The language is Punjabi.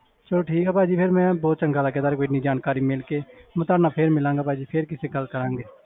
ਚਲੋ ਠੀਕ ਹੈ ਭਾਜੀ ਫਿਰ ਮੈਂ ਬਹੁਤ ਚੰਗਾ ਲੱਗਿਆ ਤੁਹਾਡੇ ਤੋਂ ਇੰਨੀ ਜਾਣਕਾਰੀ ਮਿਲ ਕੇ ਮੈਂ ਤੁਹਾਡੇ ਨਾਲ ਫਿਰ ਮਿਲਾਂਗਾ ਭਾਜੀ ਫਿਰ ਕਿਤੇ ਗੱਲ ਕਰਾਂਗੇ।